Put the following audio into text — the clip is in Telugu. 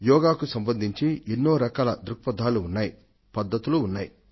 యోగాకు సంబంధించి ఎన్నో రకాల దృక్ఫథాలు ఉన్నాయి పద్ధతులు ఉన్నాయి